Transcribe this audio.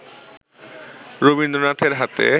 রবীন্দ্রনাথের হাতে